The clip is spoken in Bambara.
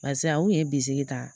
Paseke a kun ye bisiki ta